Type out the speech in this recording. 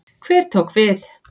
Hver tók við?